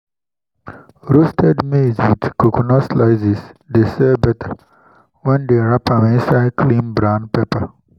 roasted ?] maize with coconut slices dey sell better when dem wrap am inside clean brown paper.